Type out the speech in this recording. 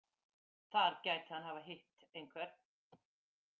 Þar gæti hann hafa hitt einhvern.